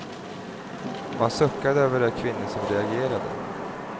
Man suckade över de kvinnor som reagerade.